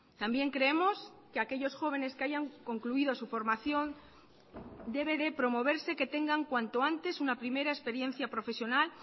también creemos que aquellos jóvenes que hayan concluido su formación debe de promoverse que tengan cuanto antes una primera experiencia profesional